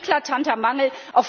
Das ist ein eklatanter Mangel.